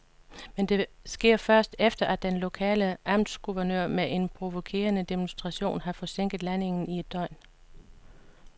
Men det sker først, efter at den lokale amtsguvernør med en provokerende demonstration har forsinket landingen i et døgn.